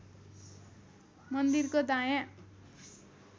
मन्दिरको दायाँ